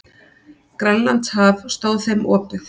Grænlandshaf stóð þeim opið.